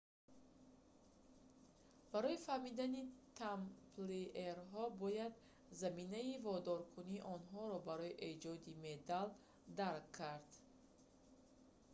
барои фаҳмидани тамплиерҳо бояд заминаи водоркунии онҳоро барои эҷоди медал дарк кард